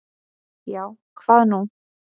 Já, hvað nú?